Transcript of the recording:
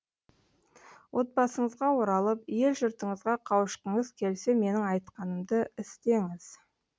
отбасыңызға оралып ел жұртыңызға қауышқыңыз келсе менің айтқанымды істеңіз